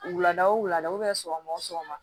Wulada o wulada sɔgɔma o sɔgɔma